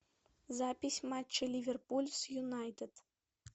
запись матча ливерпуль с юнайтед